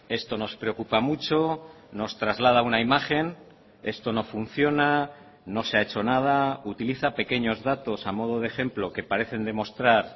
esto nos preocupa mucho nos traslada una imagen esto no funciona no se ha hecho nada utiliza pequeños datos a modo de ejemplo que parecen demostrar